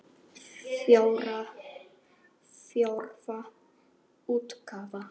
Fjórða útgáfa.